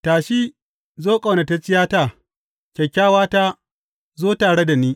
Tashi, zo, ƙaunatacciyata; kyakkyawata, zo tare da ni.